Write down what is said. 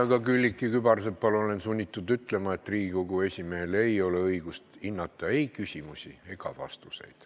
Aga Külliki Kübarsepale olen sunnitud ütlema, et Riigikogu esimehel ei ole õigust hinnata ei küsimusi ega vastuseid.